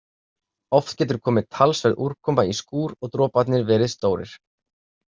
Oft getur komið talsverð úrkoma í skúr og droparnir verið stórir.